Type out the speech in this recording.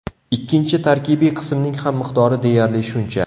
Ikkinchi tarkibiy qismning ham miqdori deyarli shuncha.